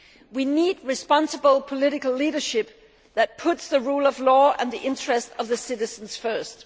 We need responsible political leadership that puts the rule of law and the interests of the citizens first.